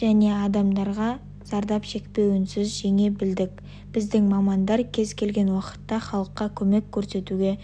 және адамдарға зардап шекпеуінсіз жеңе білдік біздің мамандар кез келген уақытта халыққа көмек көрсетуге